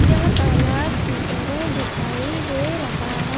यह तालाब की तरह दिखाई दे रहा है।